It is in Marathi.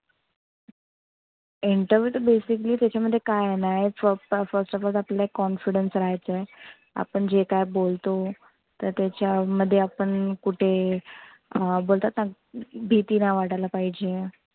Interview तर basically त्याच्यामध्ये काय आहे ना एक first of all आपल्याला confidence रहायचं आहे. आपण जे काय बोलतो. तर त्याच्यामध्ये आपण कुठे अं बोलतात ना भिती नाही वाटायला पहिजे.